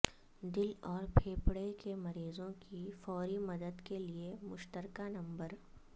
دل اور پھیپھڑے کے مریضوں کی فوری مدد کے لیے مشترکہ نمبر